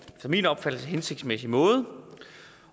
efter min opfattelse hensigtsmæssig måde